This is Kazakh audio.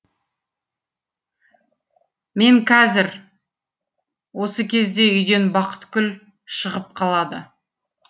мен кәзір осы кезде үйден бақыткүл шығып қалады